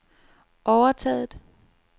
overtaget